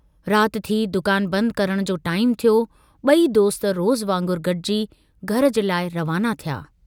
रात थी दुकान बंद करण जो टाईमु थियो, बुई दोस्त रोज़ु वांगुरु गडिजी घर जे लाइ रवाना थिया।